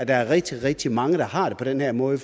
er rigtig rigtig mange der har det på den her måde